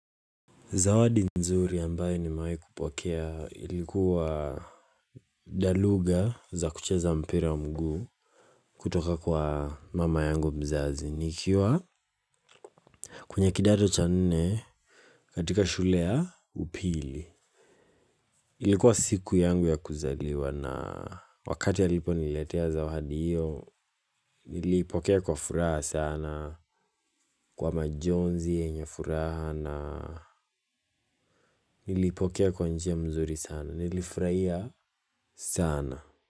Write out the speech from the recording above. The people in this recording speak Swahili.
Zawadi nzuri ambayo nimewahi kupokea ilikuwa daluga za kucheza mpira mguu kutoka kwa mama yangu mzazi. Nikiwa kwenye kidato cha nne katika shule ya upili. Ilikuwa siku yangu ya kuzaliwa na wakati aliponiletea zawadi hiyo. Nilipokea kwa furaha sana kwa majonzi yenye furaha na nilipokea kwa njia mzuri sana. Nilifurahia sana.